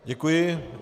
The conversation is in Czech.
Děkuji.